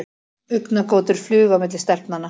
Augnagotur flugu á milli stelpnanna.